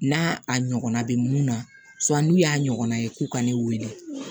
N'a a ɲɔgɔnna bɛ mun na n'u y'a ɲɔgɔnna ye k'u ka ne weele